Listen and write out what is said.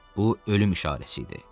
Bu ölüm işarəsi idi.